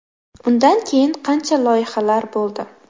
Undan keyin qancha loyihalar bo‘ldi.